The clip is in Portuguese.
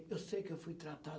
Eu sei que eu fui tratado.